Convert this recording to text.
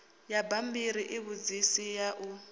ya bammbiri ivhudzisi ḽa u